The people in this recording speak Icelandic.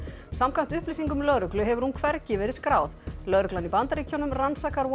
samkvæmt upplýsingum lögreglu hefur hún hvergi verið skráð lögreglan í Bandaríkjunum rannsakar